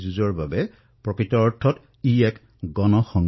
ইমান ডাঙৰ দেশত প্ৰতিজন দেশবাসীয়ে স্বয়ং এই যুঁজত যুদ্ধৰ বাবে দৃঢ় প্ৰতিজ্ঞ হৈছে